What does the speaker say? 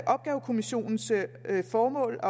opgavekommisionens formål at